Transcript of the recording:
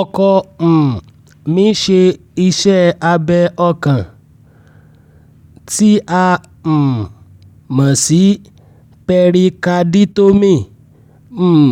ọkọ um mi ṣe iṣẹ́ abẹ ọkàn (tí a um mọ̀ sí pẹrikaditomíì) um